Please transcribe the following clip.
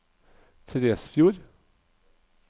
Tresfjord